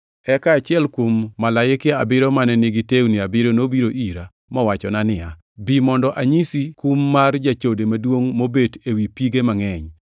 Eka achiel kuom malaike abiriyo mane nigi tewni abiriyo nobiro ira, mowachona niya; “Bi mondo anyisi kum mar jachode maduongʼ mobet ewi pige mangʼeny.